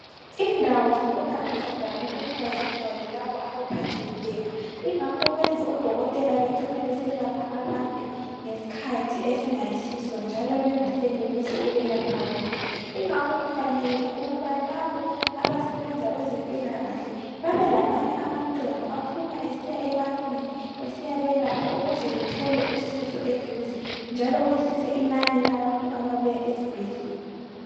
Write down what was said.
Indawo zokwelapha zivame ukuba zigcwale labo abaphathekileyo ingakho kwenza odokotela becine becine beselapha abantu ngeskhathi esingayisiso njalo bengasenelisi ukubalapha bonke ingakho kufanele ukuba labo abasebenza kwezempilakahle bebelamanye amaqembu aphuma esiya ebantwini esiyabelapha ukuze bethole usizo eduze njalo kwehlise inani labantu ababuya esibhedlela